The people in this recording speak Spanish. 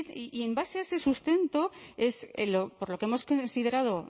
y en base a ese sustento es por lo que hemos considerado